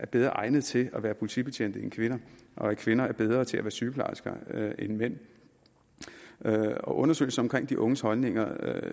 bedre egnede til at være politibetjente end kvinder og at kvinder er bedre til at være sygeplejersker end mænd undersøgelsen af de unges holdninger